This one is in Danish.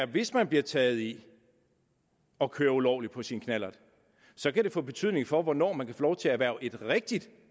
hvis man bliver taget i at køre ulovligt på sin knallert så kan få betydning for hvornår man kan få lov til at erhverve et rigtigt